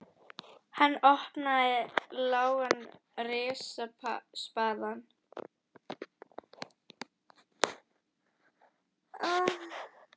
Hann opnaði lágan og rispaðan peningaskáp í horni skrifstofunnar.